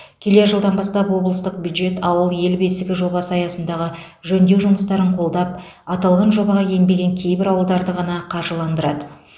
келер жылдан бастап облыстық бюджет ауыл ел бесігі жобасы аясындағы жөндеу жұмыстарын қолдап аталған жобаға енбеген кейбір ауылдарды ғана қаржыландырады